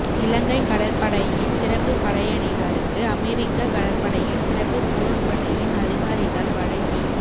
இலங்கை கடற்படையின் சிறப்பு படையணிகளுக்கு அமெரிக்க கடற்படையின் சிறப்பு போர் படையின் அதிகாரிகள் வழங்கி